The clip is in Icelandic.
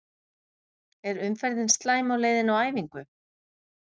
Er umferðin slæm á leiðinni á æfingu?